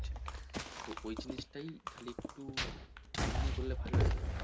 তো ওই জিনিস টাই খালি একটু time নিয়ে করলে ভালো হতো।